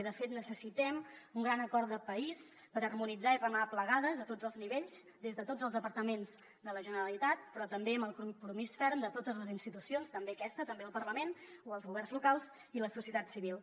i de fet necessitem un gran acord de país per harmonitzar i remar plegades a tots els nivells des de tots els departaments de la generalitat però també amb el compromís ferm de totes les institucions també aquesta també al parlament o els governs locals i la societat civil